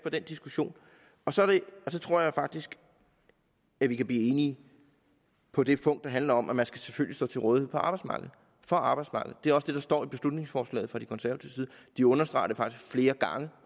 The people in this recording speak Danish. diskussion og så tror jeg faktisk at vi kan blive enige på det punkt der handler om at man selvfølgelig skal stå til rådighed for arbejdsmarkedet det er også det der står i beslutningsforslaget fra de konservative de understreger det faktisk flere gange